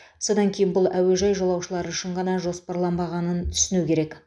содан кейін бұл әуежай жолаушылары үшін ғана жоспарланбағанын түсіну керек